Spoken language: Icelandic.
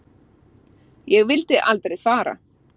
Ég vildi aldrei fara.